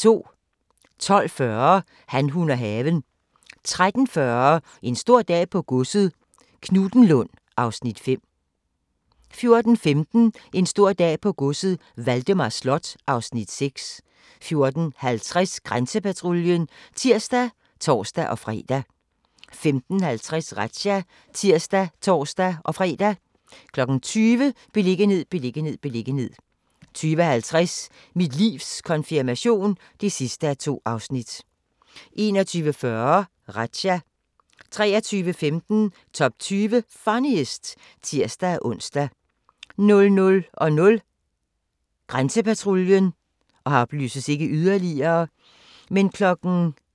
12:40: Han, hun og haven 13:40: En stor dag på godset - Knuthenlund (Afs. 5) 14:15: En stor dag på godset - Valdemar Slot (Afs. 6) 14:50: Grænsepatruljen (tir og tor-fre) 15:50: Razzia (tir og tor-fre) 20:00: Beliggenhed, beliggenhed, beliggenhed 20:50: Mit livs konfirmation (2:2) 21:40: Razzia 23:15: Top 20 Funniest (tir-ons) 00:00: Grænsepatruljen